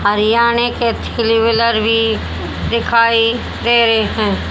हरियाणें के three wheeler भी दिखाई दे रहे हैं।